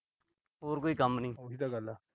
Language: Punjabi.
ਉਹੀ ਤਾਂ ਗੱਲ ਏ।